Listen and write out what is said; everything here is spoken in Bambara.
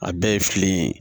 A bɛɛ ye filen ye